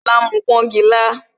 Lola ń mu pọngila